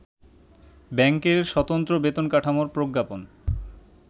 ব্যাংকের স্বতন্ত্র বেতন কাঠামোর প্রজ্ঞাপন